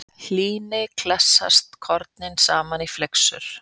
Hlýni klessast kornin saman í flyksur.